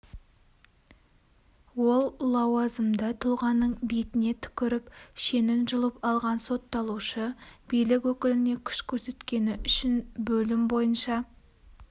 ол лауазымды тұлғаның бетіне түкіріп шенін жұлып алған сотталушы билік өкіліне күш көрсеткені үшін бөлім бойынша